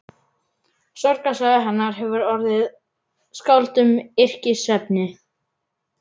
Sorgarsaga hennar hefur orðið skáldum yrkisefni.